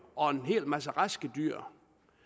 og en hel masse raske dyr